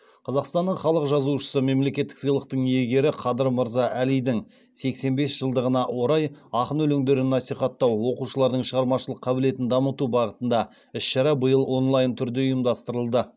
қазақстанның халық жазушысы мемлекеттік сыйлықтың иегері қадыр мырза әлидің сексен бес жылдығына орай ақын өлеңдерін насихаттау оқушылардың шығармашылық қабілетін дамыту бағытында іс шара биыл онлайн түрде ұйымдастырылды